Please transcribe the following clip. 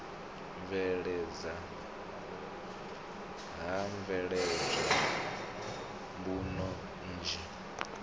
bveledzwa ho bveledzwa mbuno nnzhi